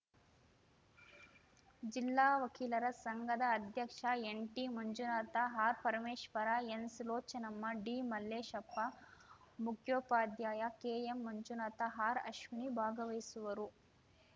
ಜಿಲ್ಲಾ ವಕೀಲರ ಸಂಘದ ಅಧ್ಯಕ್ಷ ಎನ್‌ಟಿಮಂಜುನಾಥ ಆರ್‌ಪರಮೇಶ್ವರ ಎನ್‌ಸುಲೋಚನಮ್ಮ ಡಿಮಲ್ಲೇಶಪ್ಪ ಮುಖ್ಯೋಪಾಧ್ಯಾಯ ಕೆಎಂಮಂಜುನಾಥ ಆರ್‌ಅಶ್ವಿನಿ ಭಾಗವಹಿಸುವರು